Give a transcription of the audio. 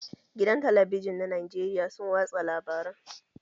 Gidan talabijin na Najeriya sun watsa labaran